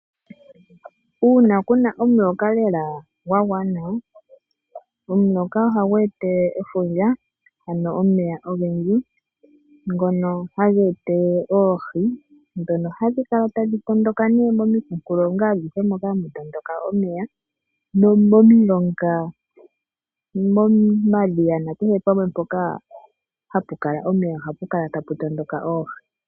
Uuna kuna omuloka lela gwa gwana, omuloka ohagu etelele efundja, ano omeya ogendji ngono haga etelele oohi dhono hadhi kala tadhi tondoka nee momikunkulonga adhihe dhoka hadhi tondoka omeya. Nomomilonga no momadhiya na kehe pamwe mpoku kala omeya, ohapu kala tapu tondoka oohi.